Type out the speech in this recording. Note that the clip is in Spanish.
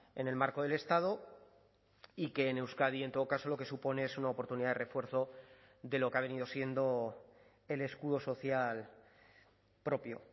en el marco del estado y que en euskadi en todo caso lo que supone es una oportunidad de refuerzo de lo que ha venido siendo el escudo social propio